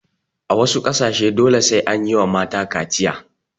A wasu ƙasashen dole sai anyiwa mata kaciya